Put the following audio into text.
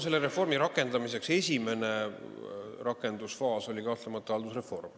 Selle reformi esimene rakendusfaas oli kahtlemata haldusreform.